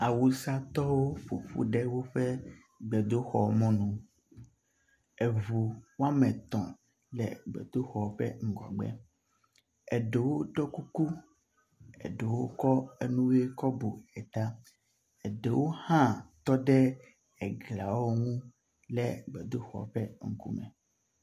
Awusatɔwo ƒoƒu ɖe woƒe gbedoxɔ mɔnu. Eŋu woame etɔ̃ le gbedoxɔ ƒe ŋkume. Eɖewo ɖɔ kuku eɖewo kɔ nu ʋiwo kɔ bu eta. Eɖewo hã tɔ ɖe egliawo ŋu le gbedoxɔ ƒe ŋkume.